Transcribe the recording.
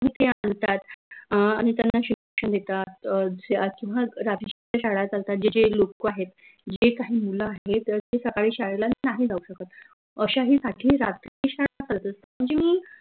आनि त्यांना शिक्षन देतात अह किंव्हा जे काही लोक आहेत जे काही मुलं आहेत त ते सकाळी शाळेला नाही जाऊ शकत अश्याहीसाठी रात्री शाळा म्हनजे